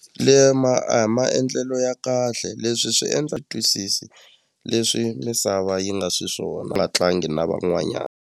a hi maendlelo ya kahle leswi swi endla twisisi leswi misava yi nga swiswona a nga tlangi na van'wanyana.